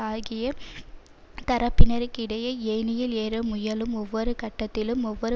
ஆகிய தரப்பினருக்கிடையே ஏணியில் ஏற முயலும் ஒவ்வொரு கட்டத்திலும் ஒவ்வொரு